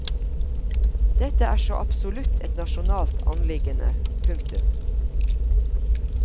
Dette er så absolutt et nasjonalt anliggende. punktum